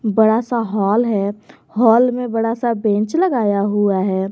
बड़ा सा हाल है हाल में बड़ा सा बेंच लगाया हुआ है।